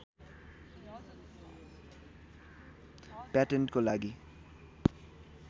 प्याटेन्टको लागि